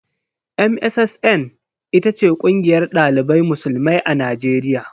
MSSN ita ce kungiyar dalibai musulmai a najeriya.